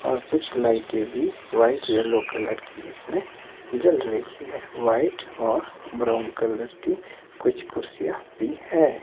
और कुछ लाइटे भी व्हाइट येलो कलर की इसमें जल रही है व्हाइट और ब्राउन कलर की कुछ कुर्सियां भी है।